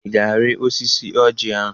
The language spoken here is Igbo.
Ị ga-arị osisi ọjị ahụ?